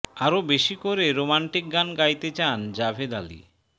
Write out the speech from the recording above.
আরও বেশি করে রোমান্টিক গান গাইতে চান জাভেদ আলি